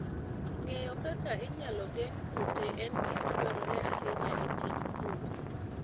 Ng'eyo kaka inyalo geng' kute en gima dwarore ahinya e tij pur.